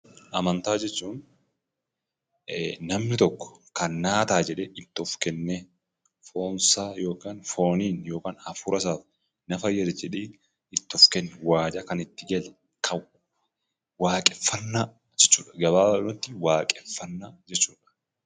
Amantaa jechuun namni tokko kan naa ta'a jedhee itti of kennee foonsaa yokaan fooniin yokaan hafuurasaa na fayyisa jedhee itti of kennu waadaa kan itti gale kan waaqeffannaa jechuudha. Gabaabaadhumatti waaqeffannaa jechuudha.